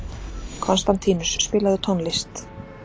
Konstantínus, spilaðu tónlist.